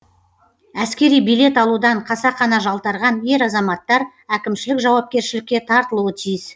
әскери билет алудан қасақана жалтарған ер азаматтар әкімшілік жауапкершілікке тартылуы тиіс